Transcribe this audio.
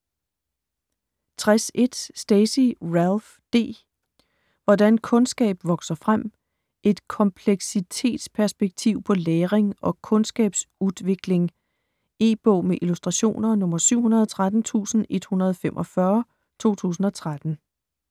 60.1 Stacey, Ralph D.: Hvordan kunnskap vokser frem: et kompleksitetsperspektiv på læring og kunnskapsutvikling E-bog med illustrationer 713145 2013.